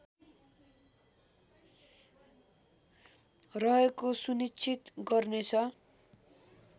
रहेको सुनिश्चित गर्नेछ